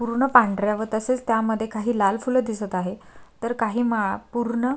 पूर्ण पांढऱ्या व तसेच त्यामध्ये काही लाल फूल दिसत आहे तर काही माळा पूर्ण --